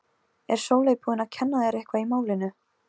Er Sóley búin að kenna þér eitthvað í málinu?